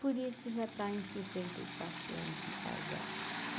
Por isso já está em cinquenta e quatro anos de casado.